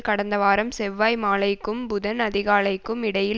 கடந்த வாரம் செவ்வாய் மாலைக்கும் புதன் அதிகாலைக்கும் இடையில்